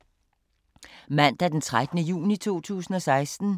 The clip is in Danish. Mandag d. 13. juni 2016